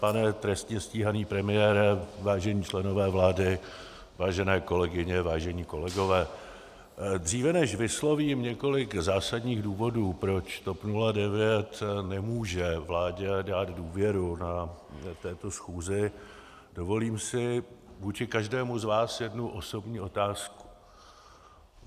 Pane trestně stíhaný premiére, vážení členové vlády, vážené kolegyně, vážení kolegové, dříve než vyslovím několik zásadních důvodů, proč TOP 09 nemůže vládě dát důvěru na této schůzi, dovolím si vůči každému z vás jednu osobní otázku.